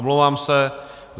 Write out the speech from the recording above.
Omlouvám se.